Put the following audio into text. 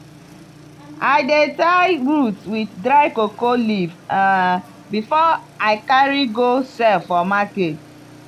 i dey tie the roots with dry cocoa leaf um before i carry go sell for market.